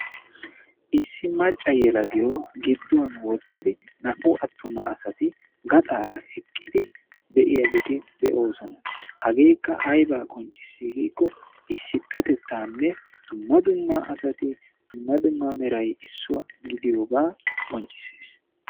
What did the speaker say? Issi macca yelagiyo gidduwaan wottiddi naa''u attuma sati gaxxaara eqqidi de'iyaageeti de'oosona. hageekka aybba qonccissi giiko issipetettanne dumma dumma meraynne dumma dumma asati issuwa gidiyooga qonccissees.